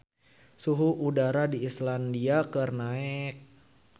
Suhu udara di Islandia keur naek